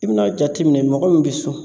I bɛna jateminɛ mɔgɔ min bɛ sun